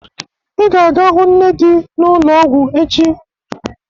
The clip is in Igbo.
Ị ga-aga hụ nne di na ulo ọgwụ echi